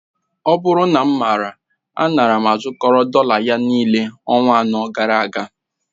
Ọ bụrụ na mmara, a nara m ịzukọrọ dọla ya, niile ọnwa anọ gara aga